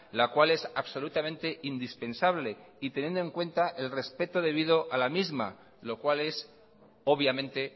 la cual es absolutamente indispensable y teniendo en cuenta el respeto debido a la misma lo cual es obviamente